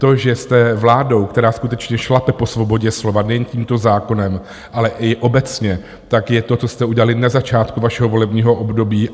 To, že jste vládou, která skutečně šlape po svobodě slova nejen tímto zákonem, ale i obecně, tak je to, co jste udělali na začátku vašeho volebního období.